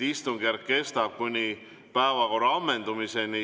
Istungjärk kestab kuni päevakorra ammendumiseni.